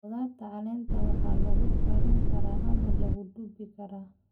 Khudradda caleenta waxaa lagu karin karaa ama lagu duban karaa.